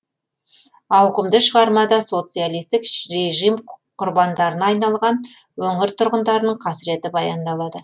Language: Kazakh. ауқымды шығармада социалистік режим құрбандарына айналған өңір тұрғындарының қасіреті баяндалады